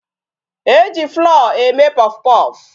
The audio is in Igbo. E ji flour eme puffpuff.